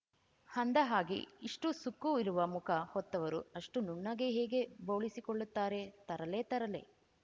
ಅಂದಹಾಗೆ ಇಷ್ಟುಸುಕ್ಕು ಇರುವ ಮುಖ ಹೊತ್ತವರು ಅಷ್ಟುನುಣ್ಣಗೆ ಹೇಗೆ ಬೋಳಿಸಿಕೊಳ್ಳುತ್ತಾರೆ ತರಲೆ ತರಲೆ